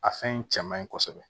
A fɛn in cɛ man ɲi kosɛbɛ